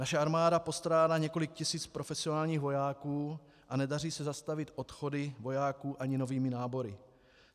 Naše armáda postrádá několik tisíc profesionálních vojáků a nedaří se zastavit odchody vojáků ani novými nábory.